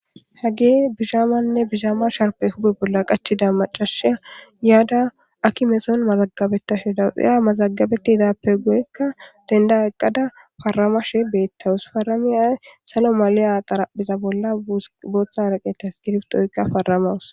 Hage bishaamanne bishaama sharpe hube bolla qachida macashiya yaada akimeson mazagabeta she dawuxiya mazagabeti idappe goyekka denda aqqada faramashe beettawus faramia salo maliya xaraphiza bolla booththa haraqeta skirftoykka faramawus.